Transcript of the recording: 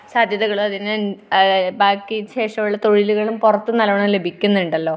സാധ്യതകളും അതിനു ബാക്കി ശേഷം ഉള്ള തൊഴിലുകളും പുറത്ത് നല്ലോണം ലഭിക്കുന്നുണ്ടല്ലോ.